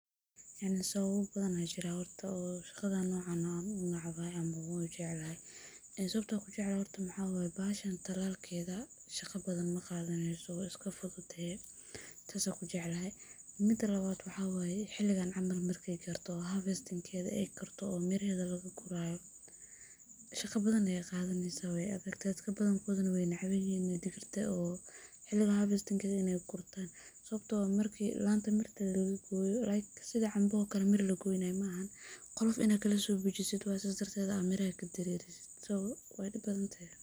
Yacni sababa badhan aa jiran oo shaqadan nocan ah an unebcahay ama an ujeclhy. Sababta ankujeclhy waxaa waye bahashan talalkedha shaqa badhan maqadaneyso way iskafududehe , tas ankujeclhy, mida lawad waxa waye waqtigan camal markay garto, hafestinkedha eh miraha lagagurayo shaqa badhan ay qadaneysaah, dadaka badhankodha na way necebyihin digrta guridtedha, sidhi camba oo kale mir lagoynayo maaha, qolofta in ad kadirtid oo sidas darteda miraha kadarerisid, so wey dib badhantahay.